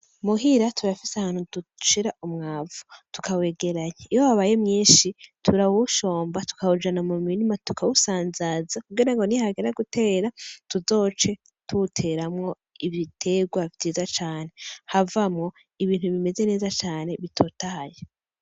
Muhira turafise ahantu dushira umwavu tukawegeranya, iyo wabaye mwinshi turawushomba tukawujana mumirima tukawusanzaza kugirango nihagera gutera tuzoce tuwuteramwo ibiterwa vyiza cane, havamwo ibintu bimeze neza cane bitotaye.